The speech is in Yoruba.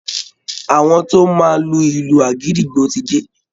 Àwọn tó máa lu ìlù àgídìgbo ti dé